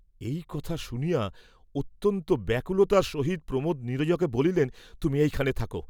এই কথা শুনিয়া অত্যন্ত ব্যাকুলতার সহিত প্রমোদ নীরজাকে বলিলেন, তুমি এইখানে থাকো।